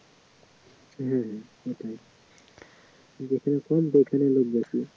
হ্যা সেটাই যেখানে কম সেখানে লোক বেশি